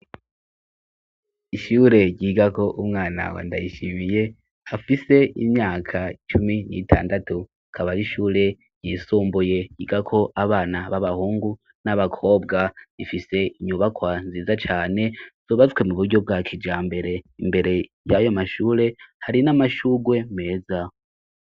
Ishure ryiga ko umwanawe andayishimiye hafise imyaka cumi n'itandatu kabara ishure ryisombuye ryiga ko abana b'abahungu n'abakobwa rifise inyubakwa nziza cane zobazswe mu buryo bwa kija mbere imbere y'ayo mashure hari n'amashure rwe meza.